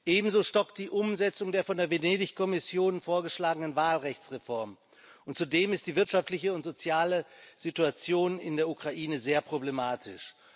Ebenso stockt die Umsetzung der von der Venedig Kommission vorgeschlagenen Wahlrechtsreformen, und zudem ist die wirtschaftliche und soziale Situation in der Ukraine sehr problematisch.